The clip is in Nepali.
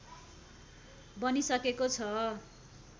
बनिसकेको छ